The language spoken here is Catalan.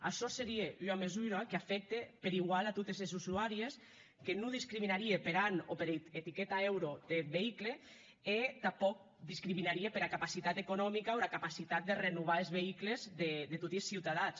açò serie ua mesura qu’afècte per igual a totes es usuàries que non discriminarie per an o per etiqueta euro deth veïcul e tanpòc discriminarie pera capacitat economica o era capacitat de renovar es veïculs de toti es ciutadans